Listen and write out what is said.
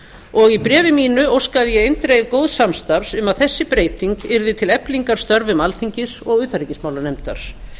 og í bréfi mínu óskaði ég eindregið góðs samstarfs um að þessi breyting yrði til eflingar störfum alþingis og utanríkismálanefndar